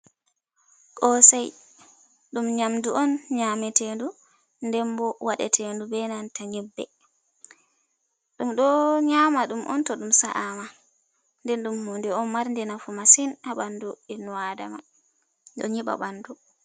Kosei ɗum nyamdu on nyamatendu nden bo wadatendu be nanta ngimbe ɗum do nyama ɗum on to ɗum sa’ama nden ɗum hunde on marnde nafu masin ha ɓandu enno adama ɗo nyiɓa ɓandu.